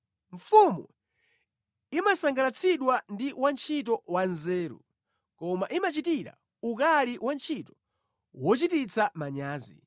Mfumu imasangalatsidwa ndi wantchito wanzeru, koma imachitira ukali wantchito wochititsa manyazi.